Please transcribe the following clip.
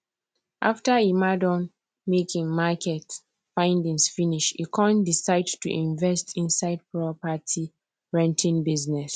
after emma don make him market findings finish e come decide to invest inside property renting business